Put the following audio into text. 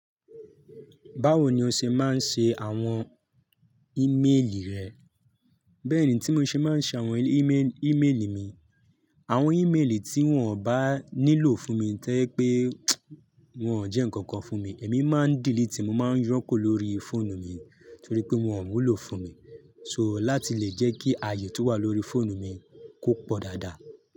Báwo ni o ṣe máa ń ṣe àwọn ímeèlì rẹ? Bẹ́ẹ̀ ni tí mo ṣe máa ń ṣe àwọn ímeèlì mi. Àwọn ímeèlì tí wọ́n ò bá nílò fún mi to je pé wọ́n ò jẹ́ nǹkan kan fún mi, èmi máa ń delete, mo máa ń yo kúrò lórí fóònù mi torí pé wọ́n ò wu lo fún mi. So láti lè jẹ́ kí ààyè tí ó wà lórí fóònù mi kó pọ̀ dáadáa.